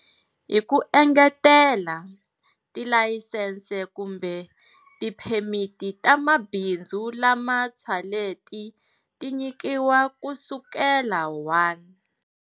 Hi ku engetela, tilayisense kumbe tiphemiti ta mabindzu lama ntshwaleti ti nyikiwaka kusukela 1.